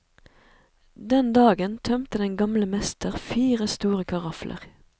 Den dagen tømte den gamle mester fire store karafler.